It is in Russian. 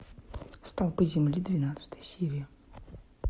столпы земли двенадцатая серия